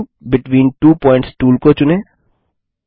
segment between two points tool को चुनें